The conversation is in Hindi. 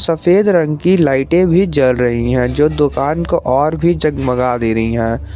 सफेद रंग की लाइटें भी जल रही है जो दुकान को और भी जगमगा दे रही है।